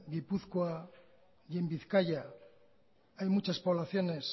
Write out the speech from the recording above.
gipuzkoa y en bizkaia hay muchas poblaciones